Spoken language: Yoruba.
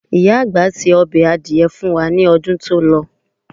Màmá àgbà ṣe ọbẹ̀ adìẹ fun wá ní ọdún tó lọ.